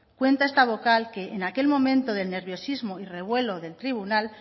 cuenta esta vocal que en aquel momento de nerviosismo y revuelo del tribunal